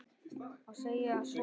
Og segir svo